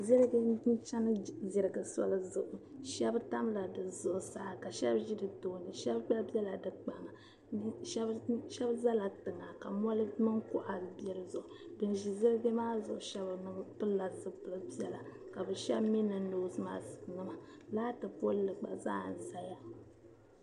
Ziliji chani ziliji soli zuɣu shɛba tamila di zuɣusaa ka shɛba mi ʒi di tooni shɛba gba bɛla di kpaŋa shɛba zala tiŋa ka mɔri mini kuɣa ban ziliji maa shɛba pilila zupili piɛla ka shɛba mi niŋ noosi maɣisinima laati pooli gba ʒiya